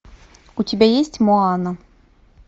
у тебя есть моана